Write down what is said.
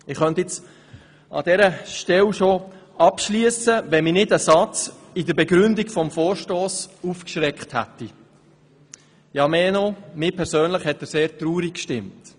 Ich könnte an dieser Stelle bereits abschliessen, wenn mich nicht ein Satz in der Begründung des Vorstosses aufgeschreckt hätte, mehr noch, er hat mich persönlich sehr traurig gestimmt.